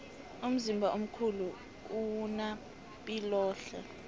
umzimba omkhulu owuna piloehle